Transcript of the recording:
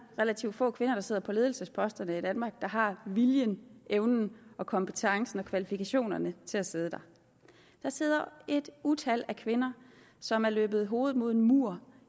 relativt få kvinder der sidder på ledelsesposterne i danmark der har viljen evnen kompetencerne og kvalifikationerne til at sidde der der sidder et utal af kvinder som har løbet hovedet mod muren